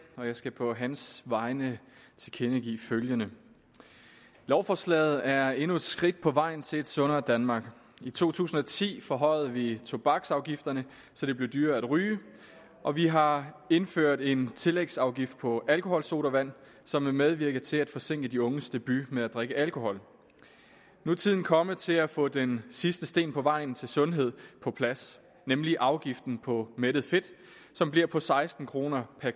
og jeg skal på hans vegne tilkendegive følgende lovforslaget er endnu et skridt på vejen til et sundere danmark i to tusind og ti forhøjede vi tobaksafgifterne så det blev dyrere at ryge og vi har indført en tillægsafgift på alkoholsodavand som vil medvirke til at forsinke de unges debut med at drikke alkohol nu er tiden kommet til at få den sidste sten på vejen til sundhed på plads nemlig afgiften på mættet fedt som bliver på seksten kroner per